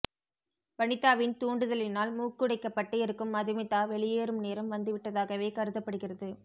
வனிதாவின் தூண்டுதலினால் மூக்குடைப்பட்டு இருக்கும் மதுமிதா வெளியேறும் நேரம் வந்துவிட்டதாகவே கருதப்படுகிறது